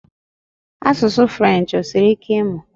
Asụsụ French, osiri ike ịmụ?